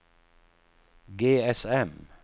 GSM